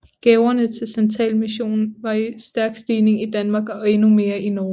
Gaverne til santalmissionen var i stærk stigning i Danmark og endnu mere i Norge